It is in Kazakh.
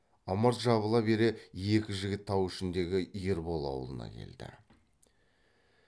ымырт жабыла бере екі жігіт тау ішіндегі ербол аулына келді